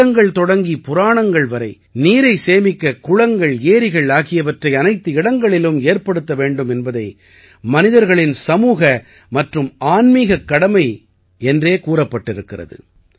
வேதங்கள் தொடங்கி புராணங்கள் வரை நீரை சேமிக்க குளங்கள் ஏரிகள் ஆகியவற்றை அனைத்து இடங்களிலும் ஏற்படுத்த வேண்டும் என்பதை மனிதர்களின் சமூக மற்றும் ஆன்மீகக் கடமை என்றே கூறப்பட்டிருக்கிறது